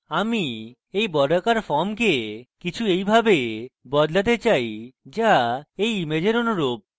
আমি এই বর্গাকার ফর্মকে কিছু এইভাবে বদলাতে চাই যা এই ইমেজের অনুকুল